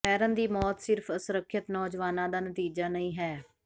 ਮੈਰਨ ਦੀ ਮੌਤ ਸਿਰਫ਼ ਅਸੁਰੱਖਿਅਤ ਨੌਜਵਾਨਾਂ ਦਾ ਨਤੀਜਾ ਨਹੀਂ ਹੈ